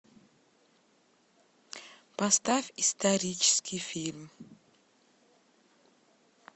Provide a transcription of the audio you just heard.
поставь исторический фильм